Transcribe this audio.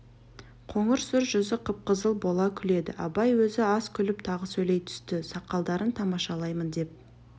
қоңыр сұр жүзі қып-қызыл бола күледі абай өзі аз күліп тағы сөйлей түсті сақалдарын тамашалаймын деп